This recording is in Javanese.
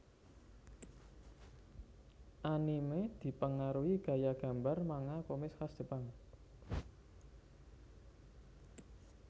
Anime dipengaruhi gaya gambar manga komik khas Jepang